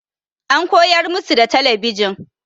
An koyar musu da talabijin.